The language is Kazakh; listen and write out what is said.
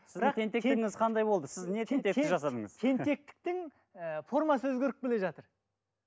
қандай болды сіз не тентектік жасадыңыз тентектіктің ііі формасы өзгеріп келе жатыр